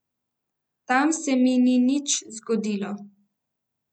Tam se mi ni nič zgodilo.